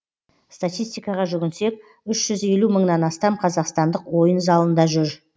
статистикаға жүгінсек үш жүз елу мыңнан астам қазақстандық ойын залында жүр